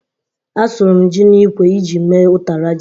Asụrụ m ji n'ikwe iji mee ụtara ji.